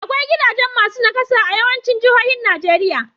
Akwai gigajen masu naƙasa a yawaicin jihohin Najeriya.